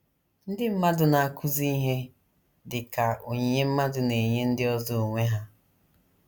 Ndị mmadụ na - akụzi ihe dị ka onyinye mmadụ na - enye ndị ọzọ onwe ya.